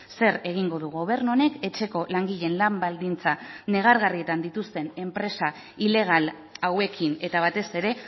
zer egingo du gobernu honek etxeko langileen lan baldintza negargarrietan dituzten enpresa ilegal hauekin eta batez ere